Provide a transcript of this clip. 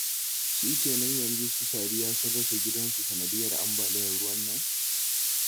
Shikenan yanzu su Sadiya sun rasa gidansu sanadiyyar ambaliyar ruwa nan?